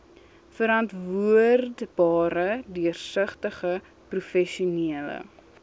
verantwoordbare deursigtige professionele